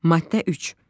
Maddə 3.